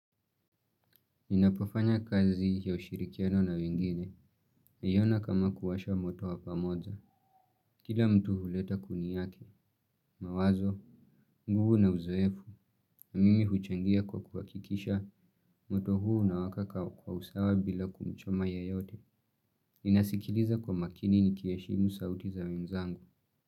Ninapofanya kazi ya ushirikiano na wengine, naiona kama kuwasha moto wa pamoja. Kila mtu huleta kuni yake, mawazo, nguvu na uzoefu, na mimi huchangia kwa kuhakikisha moto huu una waka kwa usawa bila kumchoma yoyote. Ninasikiliza kwa makini niki heshimu sauti za wenzangu.